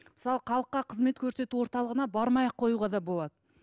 мысалы халыққа кызмет көрсету орталығына бармай ақ қоюға да болады